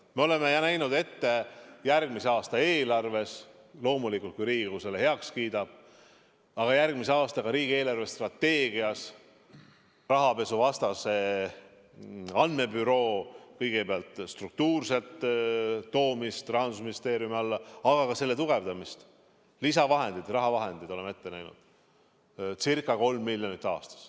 Me oleme näinud ette järgmise aasta eelarves – loomulikult, kui Riigikogu selle heaks kiidab – ja ka järgmise aasta riigi eelarvestrateegias kõigepealt rahapesuvastase andmebüroo toomise Rahandusministeeriumi alla, aga ka selle tugevdamise, lisaraha oleme ette näinud ca 3 miljonit aastas.